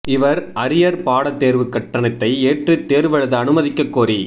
இவர் அரியர் பாட தேர்வு கட்டணத்தை ஏற்று தேர்வெழுத அனுமதிக்கக் கோரி